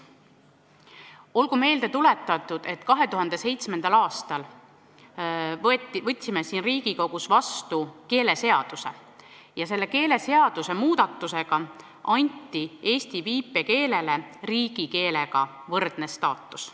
Olgu meelde tuletatud, et 2007. aastal me võtsime siin Riigikogus vastu keeleseaduse muudatuse, millega eesti viipekeelele anti riigikeelega võrdne staatus.